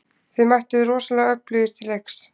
Þið mættuð rosalega öflugir til leiks?